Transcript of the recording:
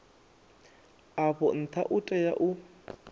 afho ntha u tea u